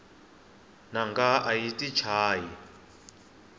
nanga ayi yti chayi